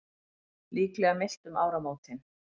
Líklega milt um áramótin